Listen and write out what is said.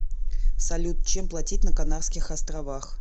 салют чем платить на канарских островах